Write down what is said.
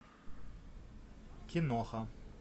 киноха